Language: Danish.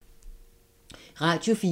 Radio 4